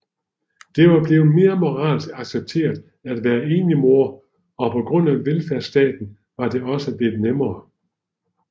Det var blevet mere moralsk accepteret at være enlig mor og på grund af velfærdsstaten var det også blevet nemmere